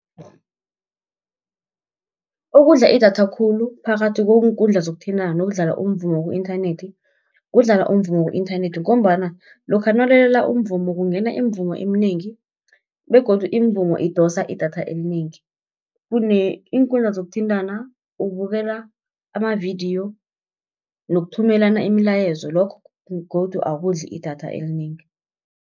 Okudla idatha khulu, phakathi kweenkundla zokuthintana nokudlala umvumo ku-inthanethi, kudlala umvumo ku-inthanethi, ngombana lokha nawulalela umvumo, kungena imivumo eminengi, begodu imivumo idosa idatha elinengi. Iinkundla zokuthintana, ubukela amavidiyo nokuthumelana imilayezo, lokho godu akudli idatha elinengi.